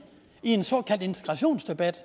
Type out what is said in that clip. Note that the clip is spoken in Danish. i en såkaldt integrationsdebat